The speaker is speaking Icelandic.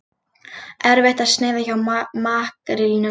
Erfitt að sneiða hjá makrílnum